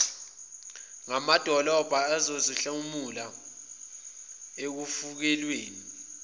namadolobha zizohlomula ekufukulweni